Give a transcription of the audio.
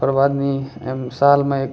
ओकर बाद नि एम साल म एक --